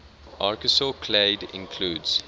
archosaur clade includes